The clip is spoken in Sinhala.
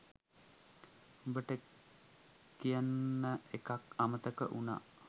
උබට කියන්න එකක් අමතක උනා.